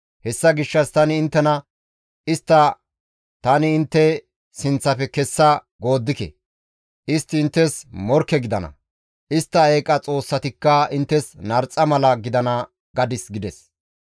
Hessa gishshas tani inttena, ‹Istta tani intte sinththafe kessa gooddike; istti inttes morkke gidana; istta eeqa xoossatikka inttes narxa mala gidana› gadis» gides.